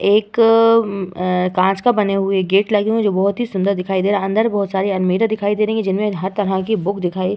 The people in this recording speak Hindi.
एक काँच का बने हुए गेट लगे है जो बहोत ही सुंदर दिखाई दे रहा है। अंदर बहोत सारी आलमारी दिखाई दे रही हैं जिनमें हर तरह की बुक दिखाई --